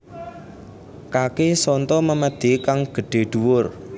Kaki sonto memedhi kang gedhe duwur